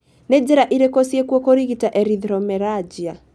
Nĩ njĩra irĩkũ ciĩkuo kũrigita erythromelalgia?